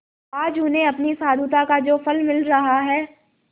आज उन्हें अपनी साधुता का जो फल मिल रहा है